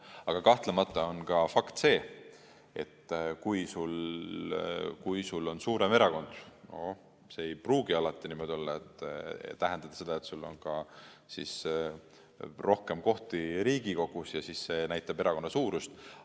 Aga kahtlemata on ka fakt see, et kui sul on suurem erakond, siis see ei pruugi alati tähendada seda, et sul on rohkem kohti Riigikogus ja see näitab erakonna suurust.